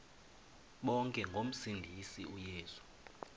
bonke ngomsindisi uyesu